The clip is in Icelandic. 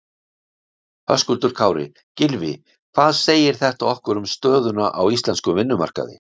Höskuldur Kári: Gylfi hvað segir þetta okkur um stöðuna á íslenskum vinnumarkaði?